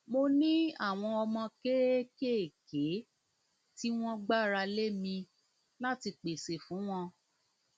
mo ní àwọn ọmọ kéékèèké tí wọn gbára lé mi láti pèsè fún pèsè fún wọn